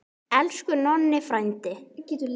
Elsku Nonni frændi.